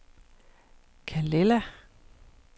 Calella